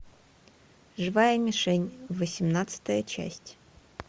живая мишень восемнадцатая часть